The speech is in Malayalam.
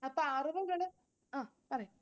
അപ്പൊ അറിവുകള്. ങ്ഹാ പറയു